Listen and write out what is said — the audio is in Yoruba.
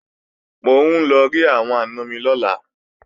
Mò ń lọ rí àwọn àna mi lọ́la